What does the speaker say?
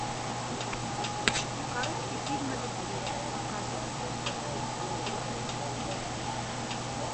короткий фильм о любви показывай